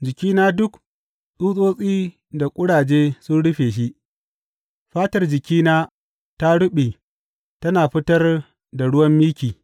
Jikina duk tsutsotsi da ƙuraje sun rufe shi, fatar jikina ta ruɓe tana fitar da ruwan miki.